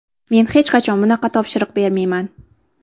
Men hech qachon bunaqa topshiriq bermayman.